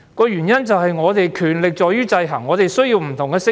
原因在於權力會受到制衡，因此我們需要不同的聲音。